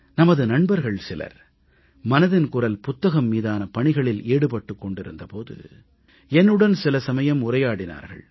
நமது நண்பர்கள் சிலர் மனதின் குரல் புத்தகம் மீதான பணிகளில் ஈடுபட்டிருந்த போது என்னுடன் சில சமயம் உரையாடினார்கள்